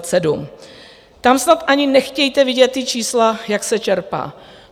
Tam snad ani nechtějte vidět ta čísla, jak se čerpá.